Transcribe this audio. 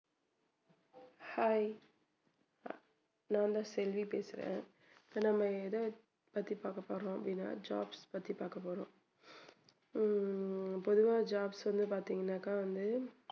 hi நான்தான் செல்வி பேசுறேன் இப்போ நம்ம எதை பத்தி பார்க்க போறோம் அப்படின்னா jobs பத்தி பாக்கபோறோம் உம் பொதுவா job பத்தி பார்த்தீங்கன்னாக்கா வந்து